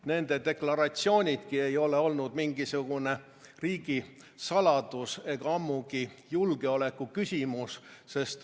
Nende deklaratsioonidki ei ole olnud mingisugune riigisaladus ega ammugi julgeoleku küsimus.